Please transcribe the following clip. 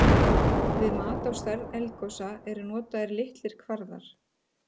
Við mat á stærð eldgosa eru notaðir nokkrir kvarðar.